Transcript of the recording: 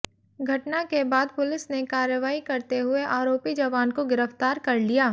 घटना के बाद पुलिस ने कार्रवाई करते हुए आरोपी जवान को गिरफ्तार कर लिया